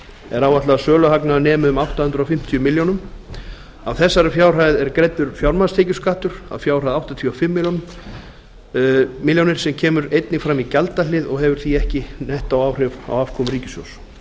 er áætlað að söluhagnaður nemi um átta hundruð fimmtíu milljónum af þessari fjárhæð er greiddur fjármagnstekjuskattur að fjárhæð áttatíu og fimm milljónir sem kemur einnig fram í gjaldahlið og hefur því ekki nettóáhrif á afkomu ríkissjóðs